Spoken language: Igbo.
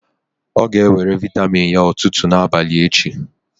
Ọ ga-ewere vịatamin ya ụtụtụ na abalị echi.